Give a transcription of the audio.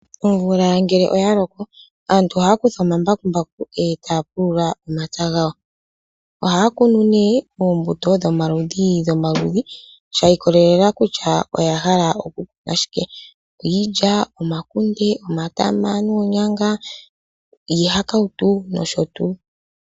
Omvula ngele oyaloko, aantu ohaya kutha omambakumbaku eta yapulula omapya gawo. Ohaya kunu ne oombuto dhomaludhi nomaludhi, shiikolelela kutya oyahala okukuna okukuna tyike, iilya, omakunde, omatama noonyanga, iihakautu nosho tu.